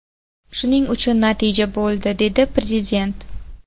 Shuning uchun natija bo‘ldi”, – dedi Prezident.